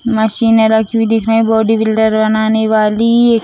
मशीने रखी हुई दिख रही हैं बॉडी बिल्डर बनाने वाली --